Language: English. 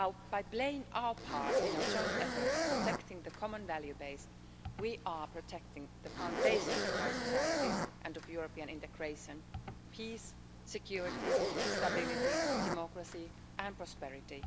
By playing our part in a joint effort of protecting the common value base, we are protecting the foundations of our societies and of European integration, peace, security, stability, democracy and prosperity.